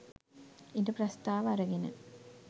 ඉඩ ප්‍රස්ථාව අරගෙන